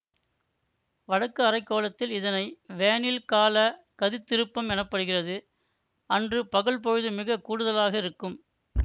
வடக்கு அரை கோளத்தில் இதனை வேனில் கால கதிர்த்திருப்பம் எனப்படுகிறது அன்று பகல்பொழுது மிக கூடுதலாக இருக்கும்